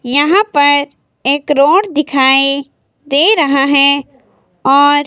यहां पर एक रोड दिखाई दे रहा है और--